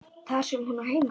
Þar sem hún á heima.